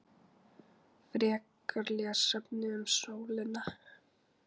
Frekara lesefni um sólina